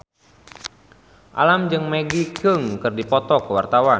Alam jeung Maggie Cheung keur dipoto ku wartawan